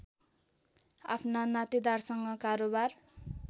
आफ्ना नातेदारसँग कारोबार